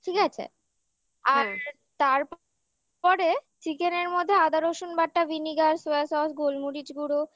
ঠিক আছে আর তারপর chicken র মধ্যে আদা রসুন বাটা vinegar soya sauce গোলমরিচ গুঁড়ো